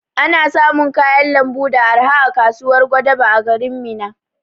Ana samun kayan lambu da arha a kasuwar Gwadabe na garin Minna